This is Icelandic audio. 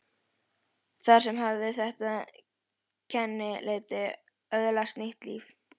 Þar með hafði þetta kennileiti öðlast nýtt líf.